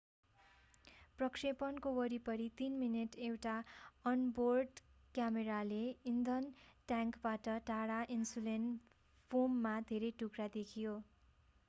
प्रक्षेपणको वरिपरि 3 मिनेट एउटा अन-बोर्ड क्यामेराले इन्धन ट्याङ्कबाट टाढा इन्सुलेशन फोमका धेरै टुक्रा देखायो